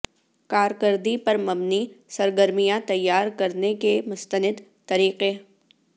کارکردگی پر مبنی سرگرمیاں تیار کرنے کے مستند طریقے